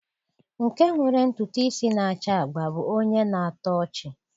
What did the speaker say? Nke nwere ntutu isi na-acha agba bụ onye na-atọ ọchị.